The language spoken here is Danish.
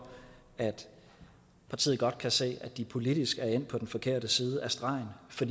at partiet godt kan se at de politisk er endt på den forkerte side af stregen for